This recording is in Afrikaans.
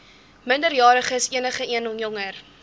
minderjariges enigeen jonger